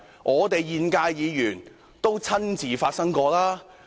我們現屆議員也有親身經歷。